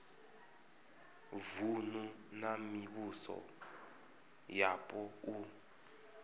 vunu na mivhuso yapo u